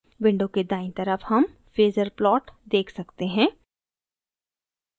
window के दायीं तरफ हम phasor plot देख सकते हैं